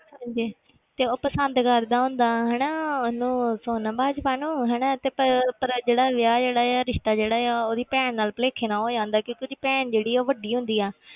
ਹਾਂਜੀ ਤੇ ਉਹ ਪਸੰਦ ਕਰਦਾ ਹੁੰਦਾ ਹਨਾ ਉਹਨੂੰ ਸੋਨਮ ਬਾਜਵਾ ਨੂੰ ਹਨਾ ਤੇ ਭਾਈ ਉਹ ਪਰ ਜਿਹੜਾ ਵਿਆਹ ਜਿਹੜਾ ਹੈ ਰਿਸਤਾ ਜਿਹੜਾ ਆ ਉਹਦੀ ਭੈਣ ਨਾਲ ਭੁਲੇਖੇ ਨਾਲ ਹੋ ਜਾਂਦਾ ਕਿਉਂਕਿ ਉਹਦੀ ਭੈਣ ਜਿਹੜੀ ਉਹ ਵੱਡੀ ਹੁੰਦੀ ਹੈ,